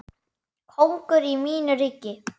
Kóngur í mínu ríki.